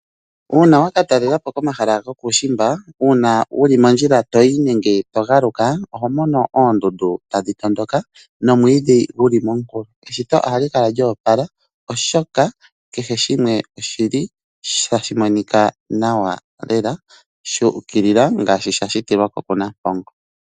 Una wa ka talelepo komahala gokuushimbwa, una wuli mondjila to yi nenge to galauka oho mono oondundu tadhi tondoka nomwidhi guli momunkulo. Eshito ohali kala lya opala oshoka kehe shimwe oshili tashi monika nawa lela, sha ukilila ngashi sha shitilwa po kuNampongo.